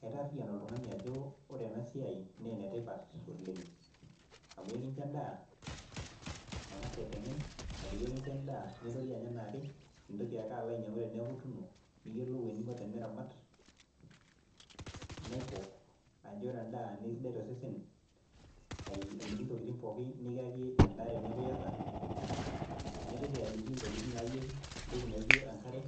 kaitaarian oltung'ani ajo ore ena siai naa ena maana oleng' amu ekicho edaa ang'as aiteng'en edaa nintorioi anya enaake mintoki alo anyiang'u teneeku ituuno, naikok ajo ore edaa naa kisidai tosesen aliki intokitin pooki nikiyaki edaa teneeku iyata naitoki aliki intokitin naayieu naijo enkare,